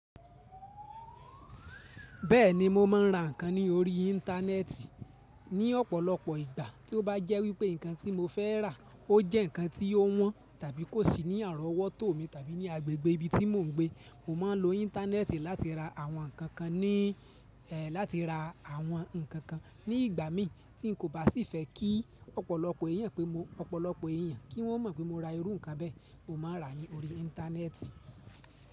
Bẹ́ẹ̀ni mo ma ń ra ǹkan ní orí Íńtánẹ́ẹ̀tì. Ní ọ̀pọ̀lọpọ̀ ìgbà tí ó bá jẹ́ wípé ǹkan tí mo fẹ́ rà ó jẹ́ ǹkan tí ó wọ́n tàbí kò sí ní àárọ̀wọ́ tò mí tàbí ní agbègbè ibi tí mò ń gbé. Mo ma ń lo Íńtánẹ́ẹ̀tì láti ra àwọn ǹkan kan ní, ẹ́ láti ra àwọn ǹkan kan. Ní ìgbà mii tí n kò bá sì fẹ́ kí ọ̀pọ̀lọpọ̀ èèyàn pé mọ̀, ọ̀pọ̀lọpọ̀ èèyàn kí wọ́n mọ̀ pé mo ra irú ǹkan bẹ́ẹ̀, mo máa n rà á ní orí Íńtánẹ́ẹ̀tì.